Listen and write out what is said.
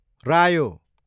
रायो